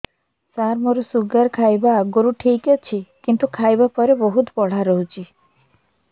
ସାର ମୋର ଶୁଗାର ଖାଇବା ଆଗରୁ ଠିକ ଅଛି କିନ୍ତୁ ଖାଇବା ପରେ ବହୁତ ବଢ଼ା ରହୁଛି